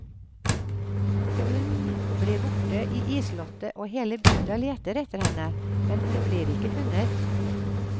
Unn blir borte i isslottet og hele bygda leter etter henne, men hun blir ikke funnet.